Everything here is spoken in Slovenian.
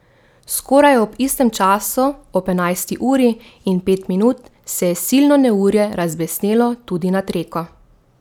Skoraj ob istem času, ob enajsti uri in pet minut, se je silno neurje razbesnelo tudi nad Reko.